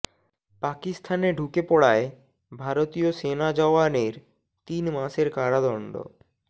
পাকিস্তানে ঢুকে পড়ায় ভারতীয় সেনা জওয়ানের তিন মাসের কারাদণ্ড